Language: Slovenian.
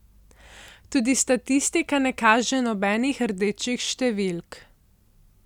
Tudi statistika ne kaže nobenih rdečih številk.